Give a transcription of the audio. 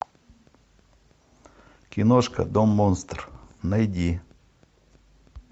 киношка дом монстр найди